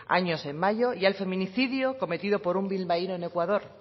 años en mayo y al feminicidio cometido por un bilbaíno en ecuador